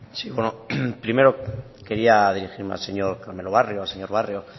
sí bueno primero quería dirigirme al señor carmelo barrio al señor barrio